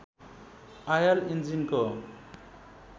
oil इन्जिनको